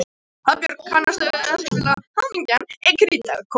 Hafbjörg, kanntu að spila lagið „Hamingjan er krítarkort“?